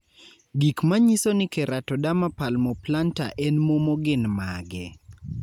Gik manyiso ni Keratoderma palmoplantar en momo gin mage?